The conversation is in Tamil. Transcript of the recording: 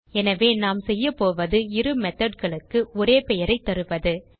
எனவே நாம் செய்யப்போவது இரு methodகளுக்கு ஒரே பெயரைத் தருவது